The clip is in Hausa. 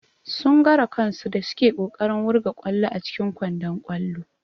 Sun gwara kansu da suke kokarin wurga ƙwallo a cikin kwandon ƙwallo.